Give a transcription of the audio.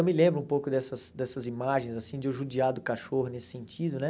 Eu me lembro um pouco dessas dessas imagens, assim, de eu judiar do cachorro nesse sentido, né?